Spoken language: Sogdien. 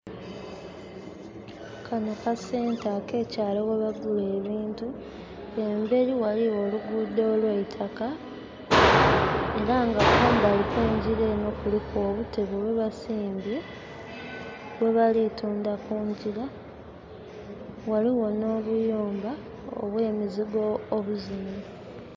Kano ka Centre ak'ekyaalo webagula ebintu. Emberi waliwo oluguudo olw'eitaka, era nga kumbali kw'engira eno kuliku obutebe bwebasimbye, bwebali tundha kungira. Waliwo n'obuyumba obw'emizigo obuzimbe.